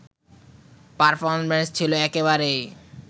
performance ছিলো একেবারেই